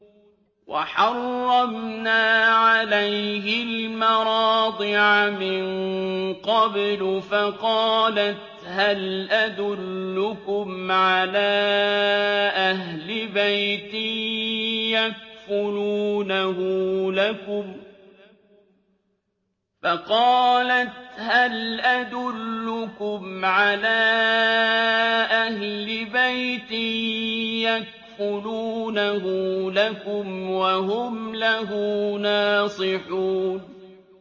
۞ وَحَرَّمْنَا عَلَيْهِ الْمَرَاضِعَ مِن قَبْلُ فَقَالَتْ هَلْ أَدُلُّكُمْ عَلَىٰ أَهْلِ بَيْتٍ يَكْفُلُونَهُ لَكُمْ وَهُمْ لَهُ نَاصِحُونَ